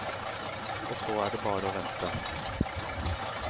Og så er det bare å vente.